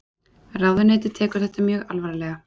Ráðuneytið tekur þetta mjög alvarlega